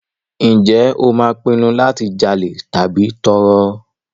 Ǹjẹ́ o máa pinnu láti jalè tàbí tọrọ?